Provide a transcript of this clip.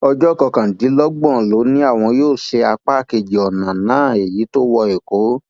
ọjọ kọkàndínlọgbọn ló ní àwọn yóò ṣe apá kejì ọnà náà èyí tó wọ ẹkọ